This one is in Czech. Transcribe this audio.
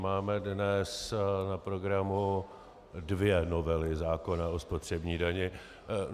Máme dnes na programu dvě novely zákona o spotřební dani.